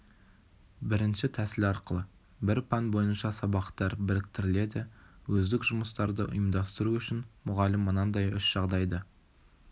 бірінші тәсіл арқылы бір пән бойынша сабақтар біріктіріледі өздік жұмыстарды ұйымдастыру үшін мұғалім мынадай үш жағдайды